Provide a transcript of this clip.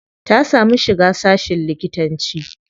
Ta samu shiga sashin likitanci.